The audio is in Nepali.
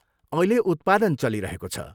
अहिले उत्पादन चलिरहेको छ।